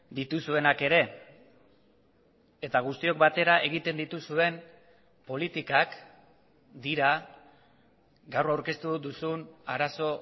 dituzuenak ere eta guztiok batera egiten dituzuen politikak dira gaur aurkeztu duzun arazo